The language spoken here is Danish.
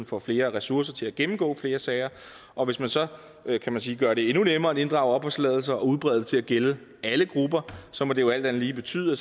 får flere ressourcer til at gennemgå flere sager og hvis man så kan man sige gør det endnu nemmere at inddrage opholdstilladelser og udbrede det til at gælde alle grupper så må det jo alt andet lige betyde at